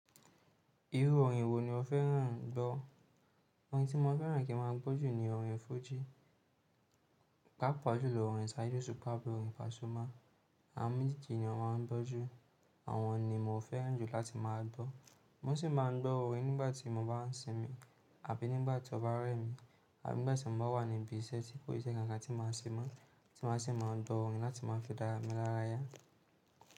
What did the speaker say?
Irú orin wo ni o fẹ́ràn ń gbọ́ orin tí mo fẹ́ràn kí n máa gbójú ní orin fújì, pápa jùlọ orin Saídú Osupa, abi orin Pasuma àwón Méjèèjì ni mo máa ń gbójú. Àwọn ni mo fẹ́ràn jù láti máa gbọ́. Mo sì máa ń gbọ́ orin nígbà tí mo bá ń sinmi àbí nígbà tí ọba rẹ́ mi àbí nígbà tí mo bá wà níbí iṣẹ́ tí kòì ṣe kankan tí máa ń ṣe mọ́ tí máa sì máa gbọ́ orin láti máa fi dáràn mí lára ya.